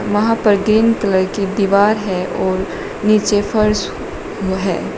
वहां पर green colour की दीवार है और नीचे फर्श है।